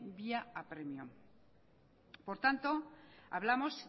vía apremio por tanto hablamos